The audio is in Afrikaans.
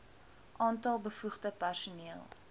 aantal bevoegde personeel